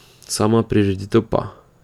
Sama prireditev pa ...